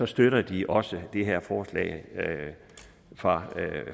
støtter de også det her forslag fra